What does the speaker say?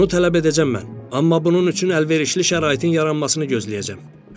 Bunu tələb edəcəm mən, amma bunun üçün əlverişli şəraitin yaranmasını gözləyəcəm.